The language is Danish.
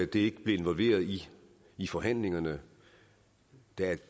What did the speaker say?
det ikke blev inkluderet i i forhandlingerne der